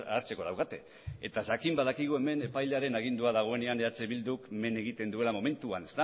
hartzeko daukate eta jakin badakigu hemen epailearen agindua dagoenean eh bilduk men egiten duela momentuan